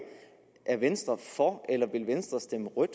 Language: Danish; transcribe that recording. er venstre for eller vil venstre stemme rødt